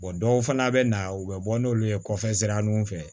dɔw fana bɛ na u bɛ bɔ n'olu ye kɔfɛ sira nunnu fɛ